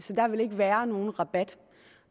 der ville ikke være nogen rabat